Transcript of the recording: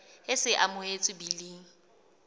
e se e amohetswe biling